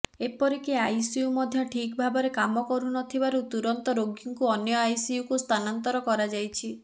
ଏପରିକି ଆଇସିୟୁ ମଧ୍ୟ ଠିକ୍ ଭାବରେ କାମ ନ କରିବାରୁ ତୁରନ୍ତ ରୋଗୀଙ୍କୁ ଅନ୍ୟ ଆଇସିୟୁକୁ ସ୍ଥାନାନ୍ତର କରାଯାଇଛି